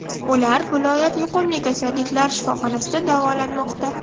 Ular viloyat yuqumli kasalliklar shifoxonasida davolanmoqda.